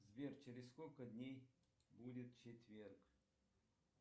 сбер через сколько дней будет четверг